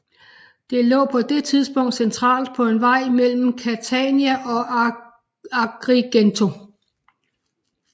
Det lå på det tidspunkt centralt på en ny vej mellem Catania og Agrigento